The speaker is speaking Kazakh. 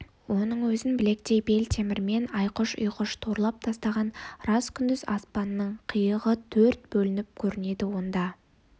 оның өзін білектей бел темірмен айқұш-ұйқыш торлап тастаған рас күндіз аспанның қиығы төрт бөлініп көрінеді онда